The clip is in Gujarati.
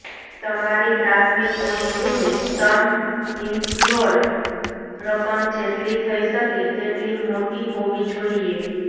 તમારી પ્રાથમિક પોલિસીની સમ ઇન્સ્યોર્ડ રકમ જેટલી થઈ શકે તેટલી મોટી હોવી જોઈએ